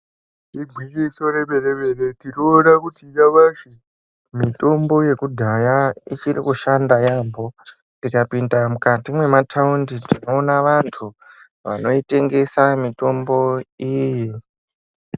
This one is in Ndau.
Igwinyiso remene mene tinoona kuti nyamashi mitombo yekudhaya ichiri kushanda yaambo tikapinda mukati mwemataundi tinoona vantu vanoitengesa mitombo iyi.